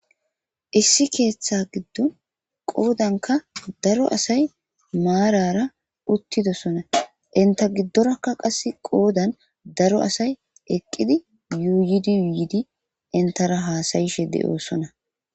issi keeththa giddon qoodanka daro asay maarara uttidosona inta giddorakka qasse qoodan daro asay eqqidi yuuyidi yuuyidi intara haasayishe de7oossona